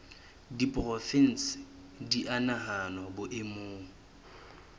diporofensi di a nahanwa boemong